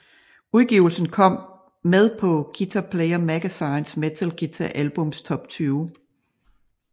Udgivelsen kom med på Guitar Player Magazines Metal Guitar albums Top 20